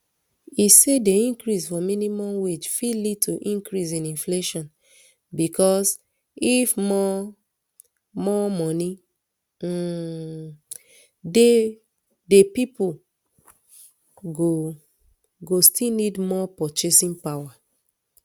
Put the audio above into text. e say di increase for minimum wage fit lead to increase in inflation becos if more more moni um dey pipo go go still need more purchasing power